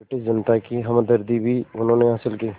British जनता की हमदर्दी भी उन्होंने हासिल की